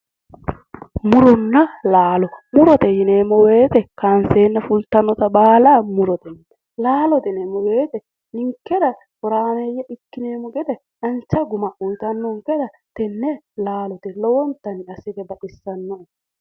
Muronna laallo, murote yineemmo woyte kayinsenna fulittanotta baalla murote yineemmo, laalote yineemmo woyte ninkera horaameye ikkineemmo gede dancha guma uuyittanonketta tene laalote yineemmk, lowontanni baxisanoe".